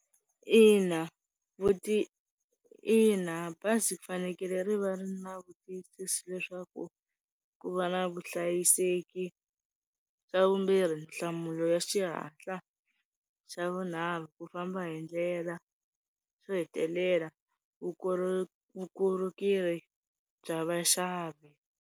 Ina, ina, bazi ku fanekele ri va ri na vutiyisisi leswaku ku va na vuhlayiseki xa vumbirhi nhlamulo ya xihatla, xa vunharhu ku famba hindlela xo hetelela vukorhokeri, vukorhokeri bya vaxavi.